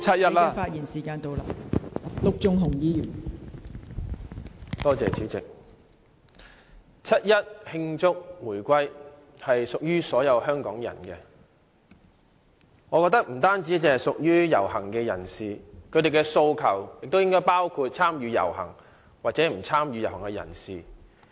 代理主席，我覺得七一慶祝回歸屬於所有香港人，並不單只屬於遊行人士，而市民的訴求亦應包括參與和不參與遊行的人士。